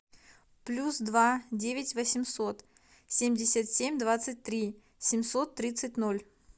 плюс два девять восемьсот семьдесят семь двадцать три семьсот тридцать ноль